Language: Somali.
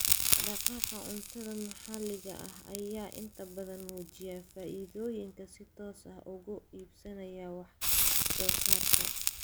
Dhaqdhaqaaqa cuntada maxaliga ah ayaa inta badan muujiya faa'iidooyinka si toos ah uga iibsanaya wax soo saarka.